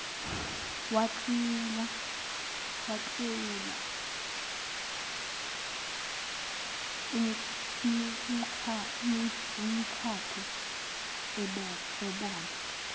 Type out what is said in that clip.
waklewula umkakhe ebona